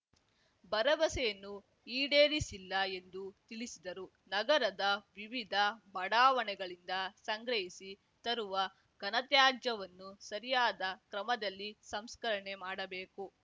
ಭರವಸೆಯನ್ನು ಈಡೇರಿಸಿಲ್ಲ ಎಂದು ತಿಳಿಸಿದರು ನಗರದ ವಿವಿಧ ಬಡಾವಣೆಗಳಿಂದ ಸಂಗ್ರಹಿಸಿ ತರುವ ಘನತ್ಯಾಜ್ಯವನ್ನು ಸರಿಯಾದ ಕ್ರಮದಲ್ಲಿ ಸಂಸ್ಕರಣೆ ಮಾಡಬೇಕು